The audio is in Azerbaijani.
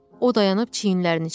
O dayanıb çiyinlərini çəkdi.